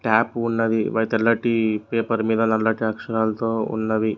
Top ఉన్నది ఒగ తెల్లటి పేపర్ మీద నల్లటి అక్షరాలతో ఉన్నవి.